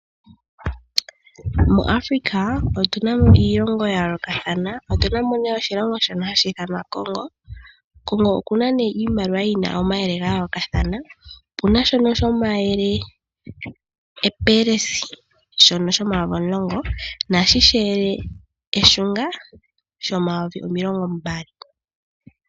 MuAfrika otuna mo iilongo ya yoolokathana otuna mo nee oshilongo shono hashi ithanwa Congo. Congo okuna nee iimaliwa yina omayele ga yoolokathana, opuna shono shomayele epelesi shono shomayovi omulongo naashi sheyele eshunga shomayovi omilongo mbali.